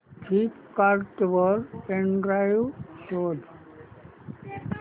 Flipkart वर pen drive शोधा